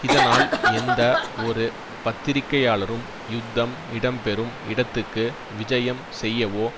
இதனால் எந்த ஒரு பத்திரிகையாளரும் யுத்தம் இடம் பெறும் இடத்துக்கு விஜயம் செய்யவோ